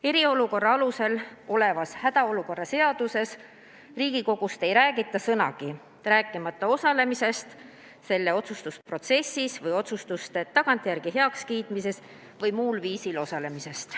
Hädaolukorra seaduse eriolukorra peatükis Riigikogust ei räägita sõnagi, rääkimata Riigikogu osalemisest otsustusprotsessis või otsuste tagantjärele heakskiitmisest või muul viisil kaasarääkimisest.